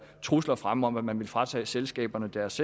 trusler fremme om at man ville fratage selskaberne deres